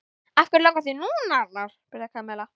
Af hverju langar þig núna, Arnar? spurði Kamilla.